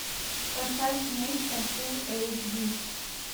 поставь нечто фулл эйч ди